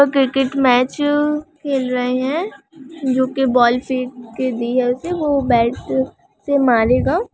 और cricket match खेल रहे हैं जो की बॉल फेंक दी है वो बैट से मारेगा।